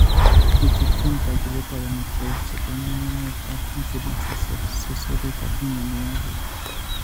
Ichuchun kagiiletab amitwogik che po ng'ung'unyek ak incidences of susurik ak myanwogik.